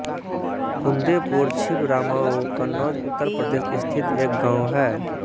कुंदेपुर छिबरामऊ कन्नौज उत्तर प्रदेश स्थित एक गाँव है